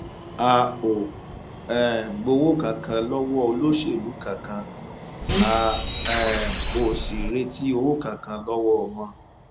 olùkọ ẹsìn islam náà sọrọ yìí um nígbà tó ń bá um àwùjọ àwọn ẹlẹsìn mùsùlùmí kan sọrọ lọjọ ìṣẹgun túṣídéé yìí